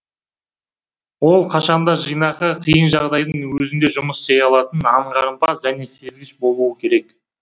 ол қашанда жинақы қиын жағдайдың өзінде жұмыс істей алатын аңғарымпаз және сезгіш болуы керек